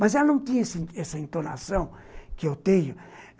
Mas ela não tinha essa entonação que eu tenho.